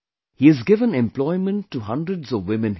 He has given employment to hundreds of women here